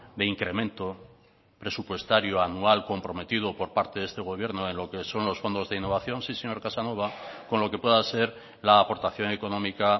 de incremento presupuestario anual comprometido por parte de este gobierno de lo que son los fondos de innovación sí señor casanova con lo que pueda ser la aportación económica